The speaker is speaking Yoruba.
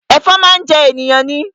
Ẹ̀fọn máa ń jẹ ènìyàn ni